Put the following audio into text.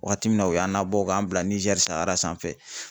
Waati min na u y'an nabɔ k'an bila Niger sanfɛ